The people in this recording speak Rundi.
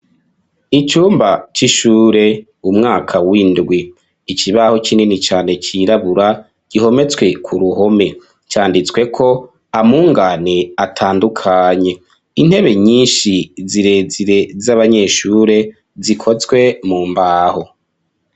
Icumba c'ishure, umwaka w'indwi; ikibaho kinini cane, cirabura, gihometswe ku ruhome; canditsweko, amungane, atandukanye; intebe nyinshi, zirezire, z'abanyeshure, zikozwe mu mbaho.